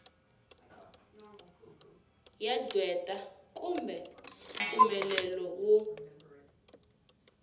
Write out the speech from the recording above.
ya qweta kumbe mpfumelelo wo